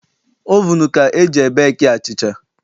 Ovunu ka e ji ebeeki achịcha.